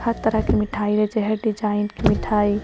हर तरह के मिठाई में जे हेय डिजाइन मिठाई --